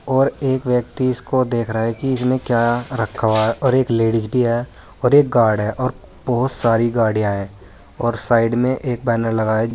और एक व्यक्ति इसको देख रहा है कि इसमें क्या रखा हुआ है और एक लेडिज भी है और एक गार्ड है और बहुत सारी गाड़ियां हैं और साइड में एक बैनर लगा है।